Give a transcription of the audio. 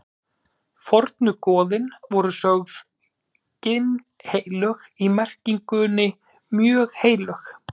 Fornu goðin voru sögð ginnheilög í merkingunni mjög heilög.